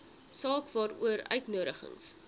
saak waaroor uitnodigings